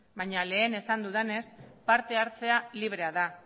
baina lehen esan dudanez parte hartzea librea da